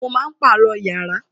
Wọn máa pàrọ̀ yàrá